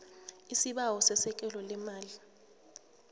isibawo sesekelo leemali